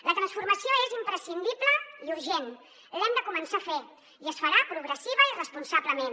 la transformació és imprescindible i urgent l’hem de començar a fer i es farà progressivament i responsablement